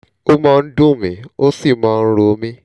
ó máa ń dùn mií ó sì máa ń ro mí